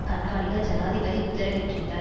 கண்காணிக்க ஜனாதிபதி உத்தரவிட்டிருந்தார்